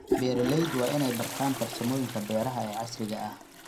Beeraleydu waa inay bartaan farsamooyinka beeraha ee casriga ah.